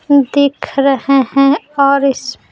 दिख रहे हैं और इस--